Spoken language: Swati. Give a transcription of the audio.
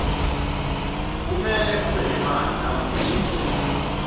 kumele ube nemali mawuya etitolo